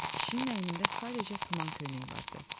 Kişinin əynində sadəcə tuman köynəyi vardı.